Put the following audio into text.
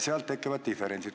Sealt tekivad diferentsid.